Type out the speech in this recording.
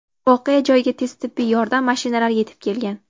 Voqea joyiga tez tibbiy yordam mashinalari yetib kelgan.